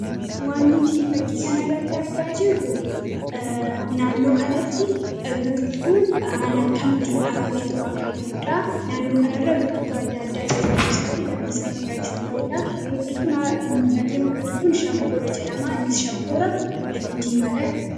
waan nuti fakkii kanarratti argaa jirru naannoo kanatti biqiltuun haala akkamittiin dhaabamee ta'u akka jiruudha naannoo kanarra biqiltuu adda addaa jirma isaatti lafnisaa magariisaa ta'uudha. biqiltuun mul'atu kun shankoora jedhama.